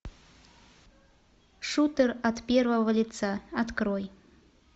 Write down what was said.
шутер от первого лица открой